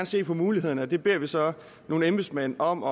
se på mulighederne og det beder man så nogle embedsmænd om